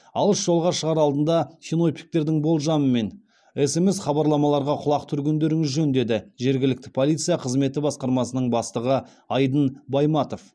алыс жолға шығар алдында синоптиктердің болжамы мен смс хабарламаларға құлақ түргендеріңіз жөн деді жергілікті полиция қызметі басқармасының бастығы айдын байматов